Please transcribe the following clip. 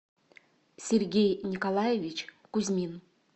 сергей николаевич кузьмин